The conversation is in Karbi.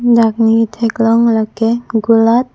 dak ne katheklong lake kulat.